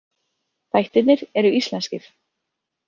Þættirnir eru íslenskir.